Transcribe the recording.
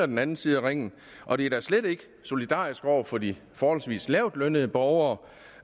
den anden side af ringen og det er da slet ikke solidarisk over for de forholdsvis lavtlønnede borgere